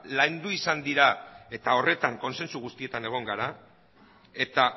landu izan dira eta horretan kontsensu guztietan egon gara eta